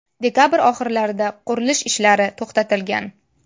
Dekabr oxirlarida qurilish ishlari to‘xtatilgan.